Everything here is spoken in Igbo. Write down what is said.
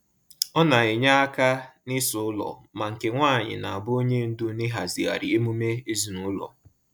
Ọ na-enye aka n’ịsa ụlọ, ma nke nwaanyị n'abụ onye ndu n’ịhazigharị emume ezinụlọ.